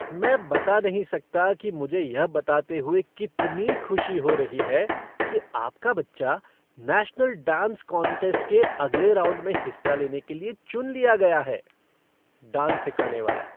मैं बता नहीं सकता कि मुझे यह बताते हुए कितनी खुशी हो रही है कि आपका बच्चा नेशनल डांस कॉन्टेंस्ट के अगले राउंड में हिस्सा लेने के लिए चुन लिया गया है। डांस सिखाने वाला